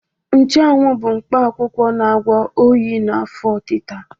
Nchụawụ bụ mkpa akwụkwọ na-agwọ oyi na afọ ọtịta.